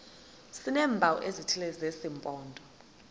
sineempawu ezithile zesimpondo